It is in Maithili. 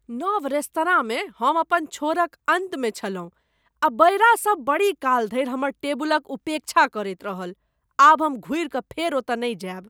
नव रेस्तराँमे हम अपन छोरक अन्तमे छलहुँ आ बयरासब बड़ीकाल धरि हमर टेबुलक उपेक्षा करैत रहल। आब हम घुरि कऽ फेर ओतऽ नहि जायब।